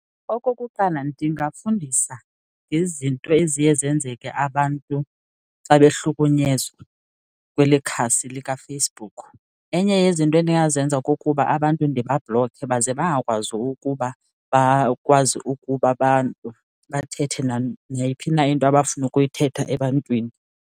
Okokuqala, ndingafundisa ngezinto eziye zenzeke abantu xa behlukunyezwa kweli khasi likaFacebook. Enye yezinto endingazenza kukuba abantu ndibabhlokhe baze bangakwazi ukuba bakwazi ukuba abantu bathethe neyiphi na into abafuna ukuyithetha ebantwini.